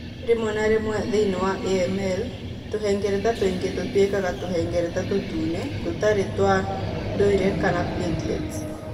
Rĩmwe na rĩmwe thĩini wa AML, tũhengereta tũingĩ tũtuĩkaga tũhengereta tũtune tũtarĩ twa ndũire kana platelets.